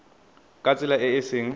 ka tsela e e seng